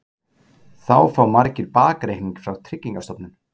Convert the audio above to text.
Þá fá margir bakreikning frá Tryggingastofnun